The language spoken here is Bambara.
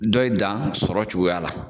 Dɔ in dan sɔrɔ cogoya la.